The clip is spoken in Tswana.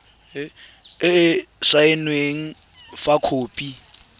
e e saenweng fa khopi